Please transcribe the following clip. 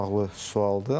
Maraqlı sualdır.